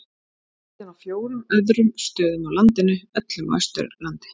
Síðan á fjórum öðrum stöðum á landinu, öllum á Austurlandi.